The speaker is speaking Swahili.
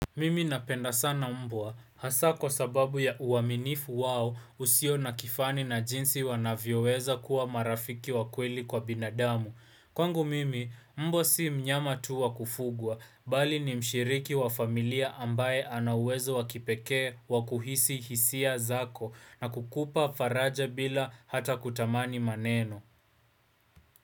Mimi napenda sana mbwa hasa kwa sababu ya uaminifu wao usio na kifani na jinsi wanavyoweza kuwa marafiki wakweli kwa binadamu kwangu mimi mbwa sii mnyama tuwa kufugwa bali ni mshiriki wa familia ambaye anauwezo wakipekee wakuhisi hisia zako na kukupa faraja bila hata kutamani maneno.